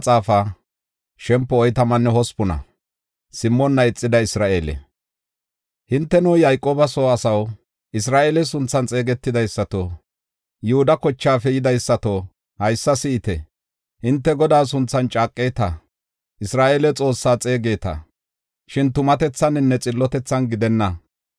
“Hinteno, Yayqooba soo asaw, Isra7eele sunthan xeegetidaysato, Yihuda kochaafe yidaysato, haysa si7ite. Hinte Godaa sunthan caaqeta; Isra7eele Xoossaa xeegeta; shin tumatethaninne xillotethan gidenna.